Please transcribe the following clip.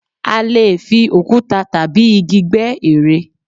A leè fi òkúta tàbí igi gbẹ́ ère